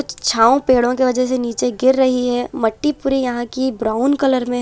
छाव पेड़ों की वजह से नीचे गिर रही है मट्टी पूरी यहां की ब्राउन कलर में--